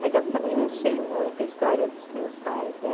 Mas eu também não sei muito a história dos meus pais, né?